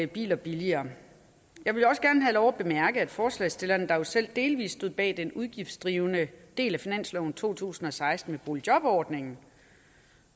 biler billigere jeg vil også gerne have lov at bemærke at forslagsstillerne der jo selv delvis stod bag den udgiftsdrivende del af finansloven to tusind og seksten med boligjobordningen